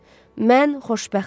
Mən xoşbəxtəm.